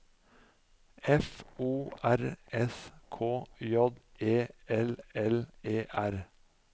F O R S K J E L L E R